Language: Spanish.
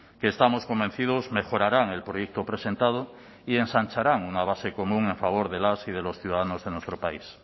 que estamos convencidos mejorarán el proyecto presentado y ensancharán una base común a favor de las y de los ciudadanos de nuestro país